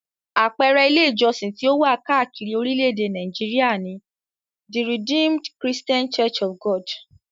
Àpẹẹrẹ Ilé-ìjọsìn tí ó wà káàkiri orílẹ̀-èdè Nàìjíríà ni; The Redeemed Christian Church of God.